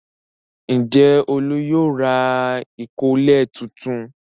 Ǹjẹ́ Olú yóò ra ìkọ́lẹ̀ tuntun?